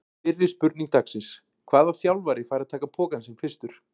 Fyrri spurning dagsins: Hvaða þjálfari fær að taka pokann sinn fyrstur?